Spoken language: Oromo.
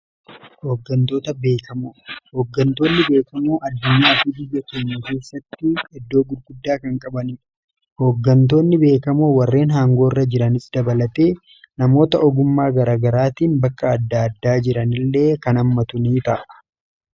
Hooggantoota beekamoo Hooggantoonni beekamoo addunyaafi biyya keenya keessatti iddoo gurguddaa kan qabanidha. hooggantoonni beekamoo warreen aangoo irra jiranis dabalatee namoota ogummaa garagaraatiin bakka adda addaa jiran illee kan ammatu ni ta'a.